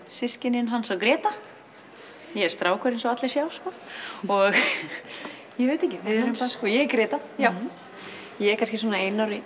systkinin Hans og Gréta ég er strákur eins og allir sjá og ég veit ekki ég er Gréta ég er kannski svona einu ári